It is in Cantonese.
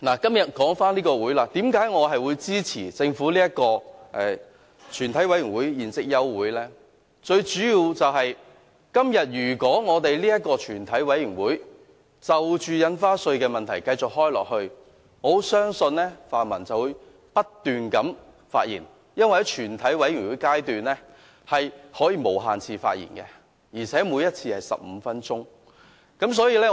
至於為何我會支持政府這項休會待續議案？最主要是，今天如果全委會繼續開會討論印花稅問題，我很相信泛民議員便會不斷地發言，因為議員可以在全委會審議階段無限次發言，每一次是15分鐘。